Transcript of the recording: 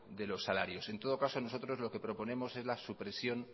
de los salarios en todo caso nosotros lo que proponemos es la supresión